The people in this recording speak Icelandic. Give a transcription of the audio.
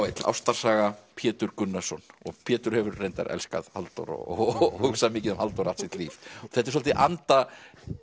l ástarsaga Pétur Gunnarsson Pétur hefur reyndar elskað Halldór og hugsað mikið um Halldór allt sitt líf þetta er svolítið í anda